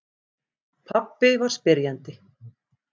Pabbi var spyrjandi.